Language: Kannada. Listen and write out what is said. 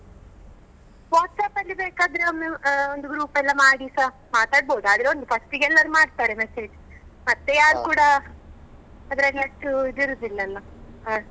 WhatsApp ಅಲ್ಲಿ ಬೇಕಾದ್ರೆ ಒಮ್ಮೆ ಆ ಒಂದು group ಎಲ್ಲ ಮಾಡಿಸ ಮಾತಾಡ್ಬೋದು, ಆದ್ರೆ ಒಂದು first ಗೆ ಎಲ್ಲರು ಮಾಡ್ತಾರೆ message ಮತ್ತೆ ಯಾರು ಕೂಡ ಅದರಲ್ಲಿ ಅಷ್ಟು ಇದಿರುದಿಲ್ಲ ಅಲ್ಲ ಹಾಗೆ.